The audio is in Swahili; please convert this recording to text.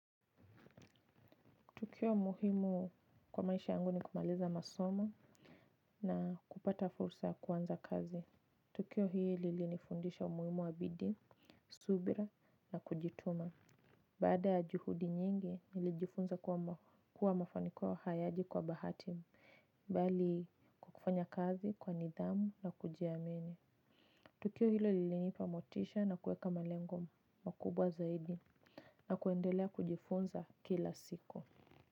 Tukio muhimu kwa maisha yangu ni kumaliza masomo na kupata fursa ya kuanza kazi. Tukio hili lili nifundisha umuhimu wa bidii, subira na kujituma. Baada ya juhudi nyingi, nilijifunza kuwa mafanikio hayaji kwa bahati. Bali kufanya kazi kwa nidhamu na kujiamini. Tukio hilo lili nipamotisha na kuweka malengo makubwa zaidi na kuendelea kujifunza kila siku.